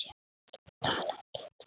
Tala ekki um þau.